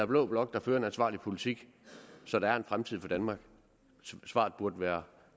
blå blok der fører en ansvarlig politik så der er en fremtid for danmark svaret burde være